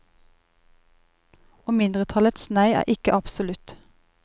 Og mindretallets nei er ikke absolutt.